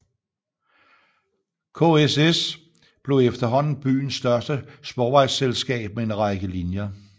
KSS blev efterhånden byens største sporvejsselskab med en række linjer